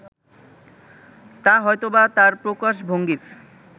তা হয়তোবা তাঁর প্রকাশভঙ্গির